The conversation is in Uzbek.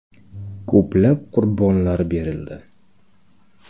Ko‘plab qurbonlar berildi.